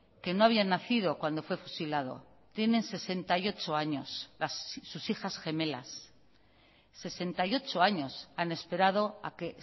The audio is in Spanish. que no habían nacido cuando fue fusilado tienen sesenta y ocho años sus hijas gemelas sesenta y ocho años han esperado a que